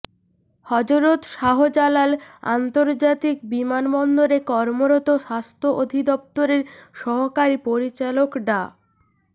হযরত শাহজালাল আন্তর্জাতিক বিমান বন্দরে কর্মরত স্বাস্থ্য অধিদপ্তরের সহকারী পরিচালক ডা